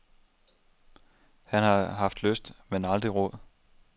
Han har haft lyst, men aldrig råd.